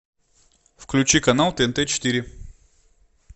включи канал тнт четыре